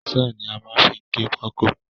Saw ni a má n fi gé pákó